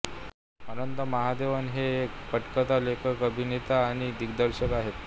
अनंत महादेवन हे एक पटकथा लेखक अभिनेता आणि दिग्दर्शक आहेत